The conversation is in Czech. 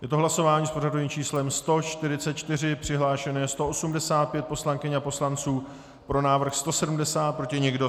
Je to hlasování s pořadovým číslem 144, přihlášeno je 185 poslankyň a poslanců, pro návrh 170, proti nikdo.